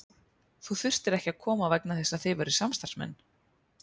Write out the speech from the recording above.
Þú þurftir ekki að koma vegna þess að þið væruð samstarfsmenn.